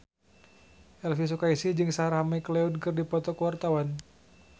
Elvy Sukaesih jeung Sarah McLeod keur dipoto ku wartawan